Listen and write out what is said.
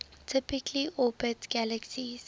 typically orbit galaxies